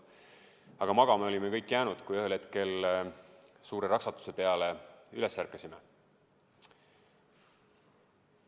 Aga magama olime kõik jäänud, kuni ühel hetkel suure raksatuse peale üles ärkasime.